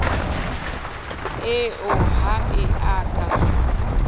eo ha e a ka